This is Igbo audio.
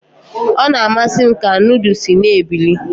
Ọ na-amasị m ka nudu si na-ebili.